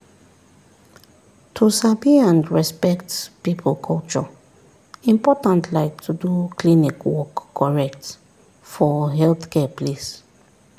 to sabi and respect people culture important like to do klinik work correct for healthcare place.